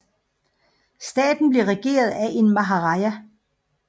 Staten blev regeret af en maharaja